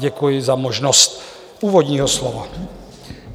Děkuji za možnost úvodního slova.